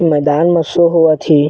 मैदान मे शो होवत हे।